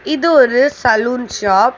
இது ஒரு salon shop .